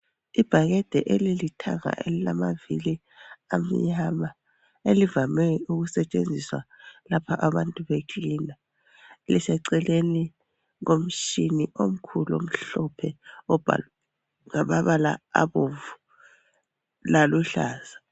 Ibhakede elilithanga elilamavili amnyama elivame ukusetshenziswa lapha abantu becleaner. Liseceleni komtshini omkhulu omhlophe obhalwe ngamabala abomvu laluhlaza.